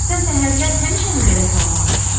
Sən səhərlər həmişəmi belə salamlaşırsan?